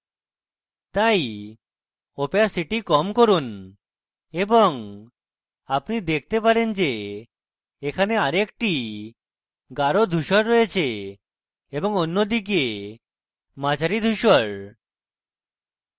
তাই opacity কম করুন এবং আপনি দেখতে পারেন যে এখানে আরেকটি গাঢ় ধূসর রয়েছে এবং অন্যদিকে মাঝারি ধূসর